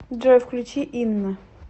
джой включи инна